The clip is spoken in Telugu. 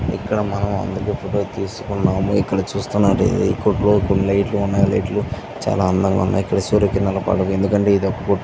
ఇక్కడ మనం అందుకు ఫోటో తీసుకున్నాము ఇక్కడ చూస్తునట్టయితే ఇక్కడ లైట్లు ఉన్నాయి లైట్ లు చాలా అందంగా ఉన్నాయి ఇక్కడ సూర్యుడు కనపడడు ఎందుకంటే --